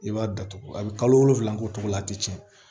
I b'a datugu a bi kalo wolonwula k'o cogo la a ti tiɲɛ